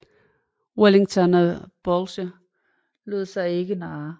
Wellington og Blücher lod sig ikke narre